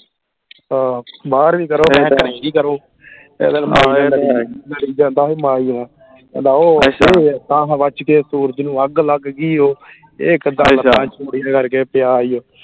ਹਾਂ ਬਾਹਰਵੀਂ ਕਰੋ ਕਰੋ ਕਹਿੰਦਾ ਉਹ ਤਾਂਹ ਹਵਾ ਚ ਕਿਤੇ ਸੂਰਜ ਨੂੰ ਅੱਗ ਲੱਗ ਗਈ ਉਹ ਇਹ ਕਿੱਦਾਂ ਕਰਕੇ ਪਿਆ ਈ ਓ